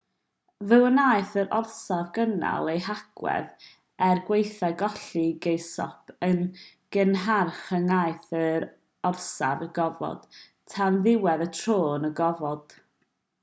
fe wnaeth yr orsaf gynnal ei hagwedd er gwaethaf colli geirosgop yn gynharach yn nhaith yr orsaf i'r gofod tan ddiwedd y tro yn y gofod